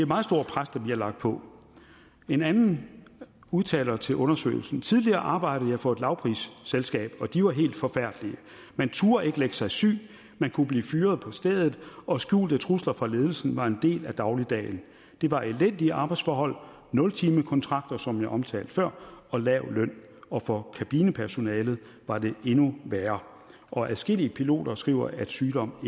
meget stort pres der bliver lagt på en anden udtaler til undersøgelsen tidligere arbejdede jeg for et lavprisselskab og de var helt forfærdelige man turde ikke lægge sig syg man kunne blive fyret på stedet og skjulte trusler fra ledelsen var en del af dagligdagen det var elendige arbejdsforhold nultimekontrakter som jeg omtalte før og lav løn og for kabinepersonalet var det endnu værre adskillige piloter skriver at sygdom